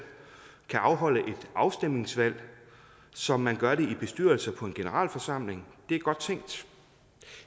kan afholde et afstemningsvalg som man gør det i bestyrelsen på en generalforsamling er godt tænkt